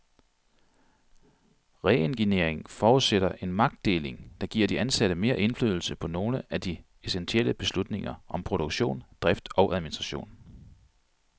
Reengineering forudsætter en magtdeling, der giver de ansatte mere indflydelse på nogle af de essentielle beslutninger om produktion, drift og administration.